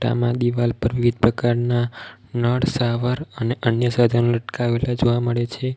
આમાં દિવાલ પર વિવિધ પ્રકારના નળ સાવર અને અન્ય સાધન લટકાવેલા જોવા મળે છે.